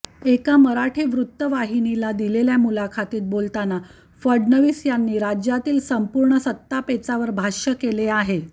एका मराठी वृत्तवाहिनीला दिलेल्या मुलाखतीत बोलताना फडणवीस यांनी राज्यातील संपूर्ण सत्तापेचावर भाष्य केले आहे